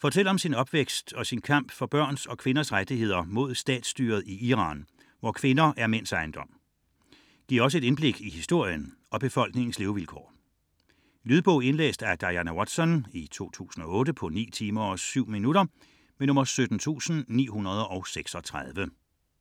fortæller om sin opvækst og sin kamp for børns og kvinders rettigheder mod statsstyret i Iran, hvor kvinder er mænds ejendom. Giver også et indblik i historien og i befolkningens levevilkår. Lydbog 17936 Indlæst af Diana Watson, 2008. Spilletid: 9 timer, 7 minutter.